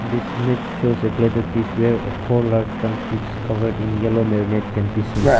this image shows a plate of dish where a four large drumsticks covered in yellow marinate can be seen.